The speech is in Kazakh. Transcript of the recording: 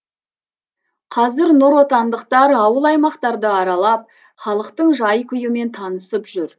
қазір нұротандықтар ауыл аймақтарды аралап халықтың жай күйімен танысып жүр